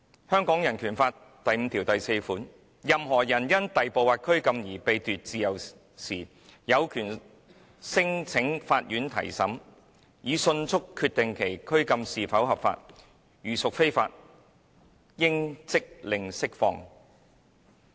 香港人權法案第五條第四款："任何人因逮捕或拘禁而被奪自由時，有權聲請法院提審，以迅速決定其拘禁是否合法，如屬非法，應即令釋放。